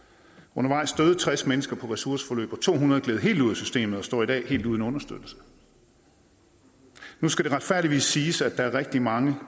undervejs døde tres mennesker på ressourceforløb og to hundrede gled helt ud af systemet og står i dag helt uden understøttelse nu skal det retfærdigvis siges at der er rigtig mange